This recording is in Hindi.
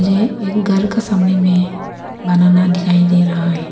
ये एक घर का सामने में बनाना दिखाई दे रहा है।